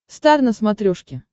стар на смотрешке